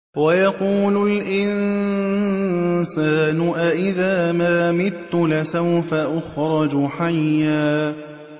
وَيَقُولُ الْإِنسَانُ أَإِذَا مَا مِتُّ لَسَوْفَ أُخْرَجُ حَيًّا